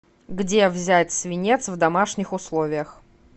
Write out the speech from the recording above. где взять свинец в домашних условиях